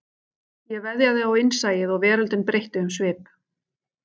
Ég veðjaði á innsæið og veröldin breytti um svip